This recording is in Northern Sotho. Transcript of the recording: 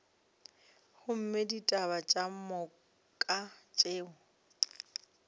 gomme ditaba ka moka tšeo